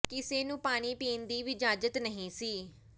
ਕਿਸੇ ਨੂੰ ਪਾਣੀ ਪੀਣ ਦੀ ਵੀ ਇਜਾਜ਼ਤ ਨਹੀਂ ਸੀ